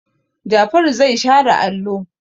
Jafaru zai share allo.